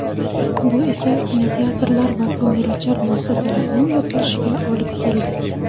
Bu esa kinoteatrlar va ko‘ngilochar muassasalarning yopilishiga olib keldi.